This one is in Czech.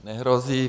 Nehrozí.